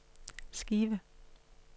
skive